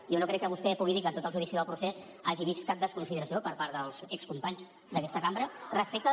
jo no crec que vostè pugui dir que en tot el judici del procés hagi vist cap desconsideració per part dels excompanys d’aquesta cambra respecte